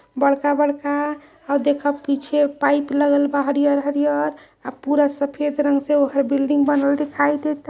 बडका बडका और देखो पीछे पाइप लगल बा। हरियर हरियर अब पुरा सफेद रंग से बिल्डिंग बनल दिखाई देता।